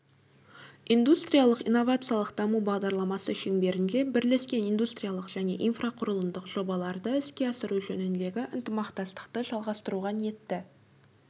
индустриялық-инновациялық даму бағдарламасы шеңберінде бірлескен индустриялық және инфрақұрылымдық жобаларды іске асыру жөніндегі ынтымақтастықты жалғастыруға ниетті